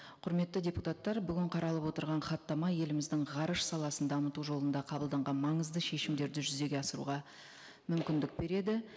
құрметті депутаттар бүгін қаралып отырған хаттама еліміздің ғарыш саласын дамыту жолында қабылданған маңызды шешімдерді жүзеге асыруға мүмкіндік береді